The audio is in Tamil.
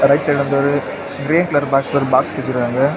ரைட் சைடு வந்து ஒரு க்ரே கலர் பாக்ஸ் ஒரு பாக்ஸ் வெச்சுருக்காங்க.